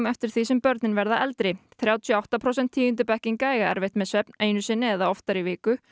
eftir því sem börnin verða eldri þrjátíu og átta prósent tíundubekkinga eiga erfitt með svefn einu sinni eða oftar í viku